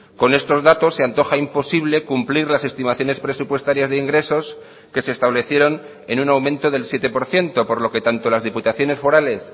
con estos datos se antoja imposible cumplir las estimaciones presupuestarias de ingresos que se establecieron en un aumento del siete por ciento por lo que tanto las diputaciones forales